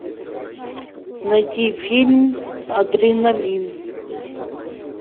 найти фильм адреналин